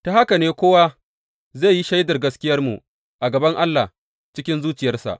Ta haka ne kowa zai yi shaidar gaskiyarmu a gaban Allah cikin zuciyarsa.